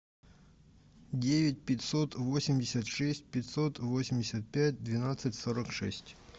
девять пятьсот восемьдесят шесть пятьсот восемьдесят пять двенадцать сорок шесть